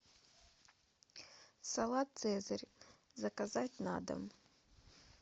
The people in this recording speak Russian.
салат цезарь заказать на дом